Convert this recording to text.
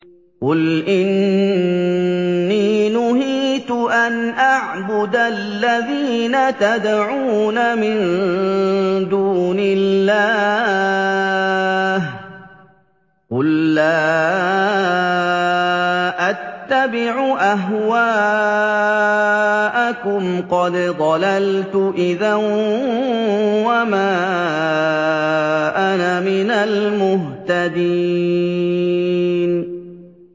قُلْ إِنِّي نُهِيتُ أَنْ أَعْبُدَ الَّذِينَ تَدْعُونَ مِن دُونِ اللَّهِ ۚ قُل لَّا أَتَّبِعُ أَهْوَاءَكُمْ ۙ قَدْ ضَلَلْتُ إِذًا وَمَا أَنَا مِنَ الْمُهْتَدِينَ